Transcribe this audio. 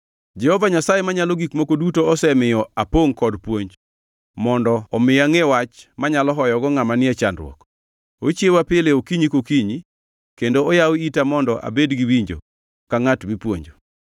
Jehova Nyasaye Manyalo Gik Moko Duto osemiyo apongʼ kod puonj, mondo omi angʼe wach manyalo hoyogo ngʼama ni e chandruok. Ochiewa pile okinyi kokinyi, kendo oyawo ita mondo abed gi winjo ka ngʼat mipuonjo.